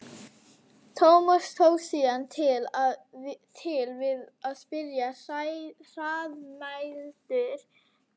Tómas tók síðan til við að spyrja hraðmæltur um Margréti.